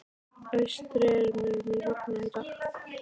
Austri, mun rigna í dag?